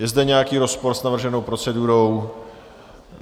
Je zde nějaký rozpor s navrženou procedurou?